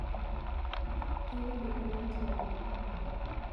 Kirobi oleng' teboo?